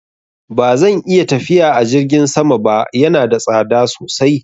Ba zan iya tafiya a jirgin sama ba, yana da tsada sosai.